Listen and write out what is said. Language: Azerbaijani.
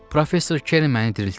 Professor Keren məni diriltdi.